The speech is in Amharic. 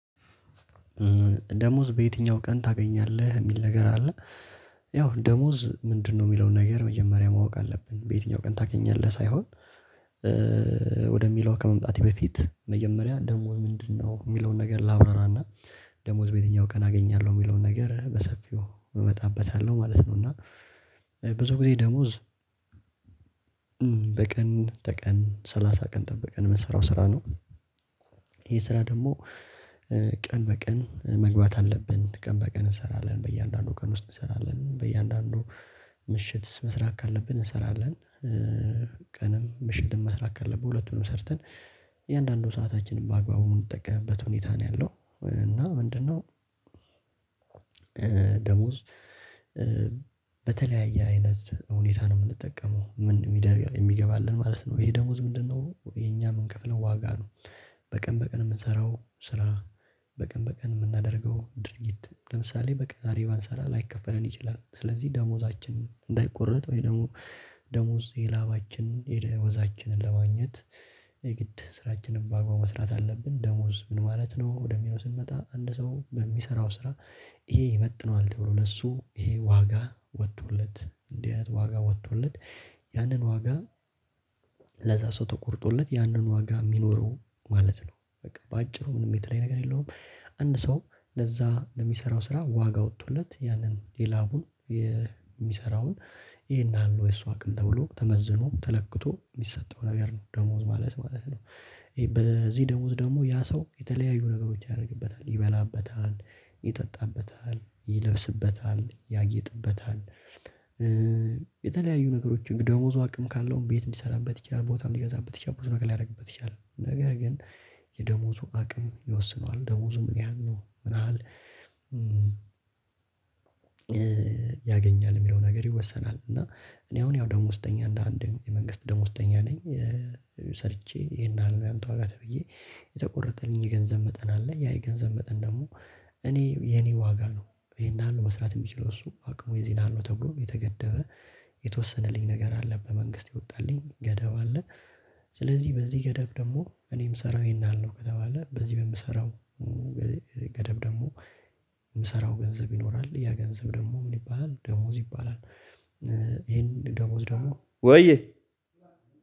ደሞዝ በየትኛው ቀን ታገኛለህ የሚል ነገር አለ? ያው ደሞዝ ምንድነው የሚለውን ነገር መጀመሪያ ማወቅ አለብን በየትኛው ቀን ታገኛለህ ሳይሆን። ወደሚለው ከመምጣቴ በፊት መጀመሪያ ደሞዝ ምንድነው የሚለውን ነገር ላብራራና ደሞዝ በየትኛው ቀን አገኛለሁ የሚለውን ነገር በሰፊው እመጣበታለሁ ማለት ነው። እና ብዙ ጊዜ ደሞዝ በቀን ተቀን ሰላሳ ቀን ጠብቀን የምንሰራው ስራ ነው። ይሄ ስራ ደግሞ ቀን በቀን መግባት አለብን ቀን በቀን እንሰራለን በእያንዳንዱ ቀን ውስጥ እንሰራለን በእያንዳንዱ ምሽት ምስራት ካለብን እንሰራለን። ቀንም ምሽትን ምስራት ካለብን ሁለቱንም ሰርተን እያንዳንዱ ሰአታችንን በአግባቡ የምንጠቀምበት ሁኔታ ነው። ያለው እና ምንድነው? ደሞዝ በተለያየ አይነት ሁኔታ ነው የምንጠቀመው የሚገባልን ማለት ነው። ይሄ ደግሞ ምንድነው የኛ የምንከፍለው ዋጋ ነው። በቀን በቀን የምንሰራው ስራ በቀን በቀን የምናደርገው ድርጊት ለምሳሌ በቃ ዛሬ ባንሰራ ላይከፈለን ይችላል። ስለዚህ ደሞዛችን እንዳይቆረጥ ወይ ደግሞ ደሞዝ የላባችንን የወዛችንን ለማግኘት የግድ ስራችንን በአግባቡ መስራት አለብን። ደሞዝ ምን ማለት ነው? ወደሚለው ስንመጣ አንድ ሰው በሚሰራው ስራ ይሄ ይመጥነዋል ተብሎ ለእሱ ይሄ ዋጋ ወጥቶለት እንዲህ አይነት ዋጋ ወጥቶለት ያንን ዋጋ ለዚያ ሰው ተቆርጦለት ያንን ዋጋ የሚኖረው ማለት ነው። በቃ በአጭሩ ምንም የተለየ ነገር የለውም አንድ ሰው ለዛ ለሚሰራው ስራ ዋጋ ወጥቶለት ያንን የላቡን የሚሰራውን ይሄን አሉ የሷ አቅም ተብሎ ተመዝኖ ተለክቶ የሚሰጠው ነገር ነው። ደሞዝ ማለት ማለት ነው። በዚህ ደሞዝ ደግሞ ያ ሰው የተለያዩ ነገሮች ያደርግበታል ይበላበታል ይጠጣበታል ይለብስበታል ያጌጥበታል። የተለያዩ ነገሮች ደሞዙ አቅም ካለው ቤት የሚሰራበት ይቻላል ቦታም ሊገዛበት ይቻላል ቦታ ሊያደርግበት ይቻላል ነገር ግን የደሞዙ አቅም ይወስነዋል። ደሞዙ ምን ያህል ነው ምን ያህል? ያገኛል የሚለው ነገር ይወሰናል። እና እኔ አሁን ያው ደሞዝተኛ እንደ አንድ የመንግስት ደሞዝተኛ ነኝ። ሰርቼ ይሄን ያህል ነው ያንተ ዋጋ ተብዬ የተቆረጠልኝ የገንዘብ መጠን አለ ያ የገንዘብ መጠን ደግሞ እኔ የእኔ ዋጋ ነው። ይሄን ያህል ነው መስራት የሚችለው እሱ አቅሙ የዚህ ያህል ነው ተብሎ የተገደበ የተወሰነልኝ ነገር አለ በመንግስት የወጣልኝ ገደብ አለ። ስለዚህ በዚህ ገደብ ደግሞ እኔም ምሰራው ይሄን ያህል ነው ከተባለ በዚህ በምሰራው ገደብ ደግሞ የምሰራው ገንዘብ ይኖራል ያ ገንዘብ ደግሞ ምን ይባላል ደሞዝ ይባላል። ይሄን ደሞዝ ደግሞ ወይ